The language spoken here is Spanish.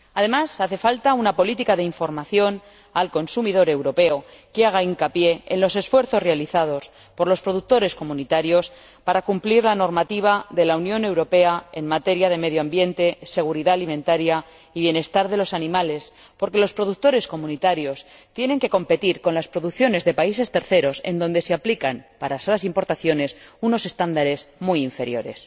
Además, hace falta una política de información al consumidor europeo que haga hincapié en los esfuerzos realizados por los productores comunitarios para cumplir la normativa de la Unión Europea en materia de medio ambiente, seguridad alimentaria y bienestar de los animales, porque los productores comunitarios tienen que competir con las producciones de países terceros, donde se aplican, a esas importaciones, unos estándares muy inferiores.